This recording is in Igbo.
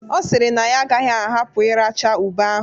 Ọ sịrị na ya agaghị ahapụ iracha ube ahụ.